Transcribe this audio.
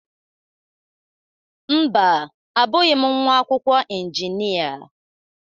Mba, abụghị m nwa akwụkwọ injinia.